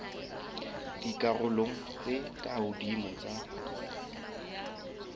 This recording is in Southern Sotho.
dikarolong tse ka hodimo tsa